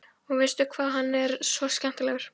Og veistu hvað, hann er svo skemmtilegur.